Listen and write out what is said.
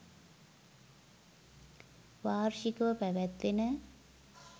වාර්ෂික ව පැවැත්වෙන